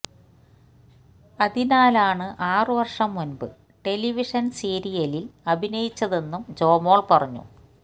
അതിനാലാണ് ആറു വർഷം മുൻപ് ടെലിവിഷൻ സീരിയലിൽ അഭിനയിച്ചതെന്നും ജോമോൾ പറഞ്ഞു